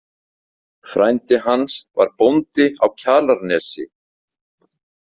Frændi hans var bóndi á Kjalarnesi.